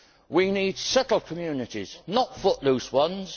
We need settled communities, not footloose ones